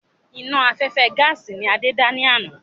Iná afẹ́fẹ́ gaàsì ni Adé dá ní àná.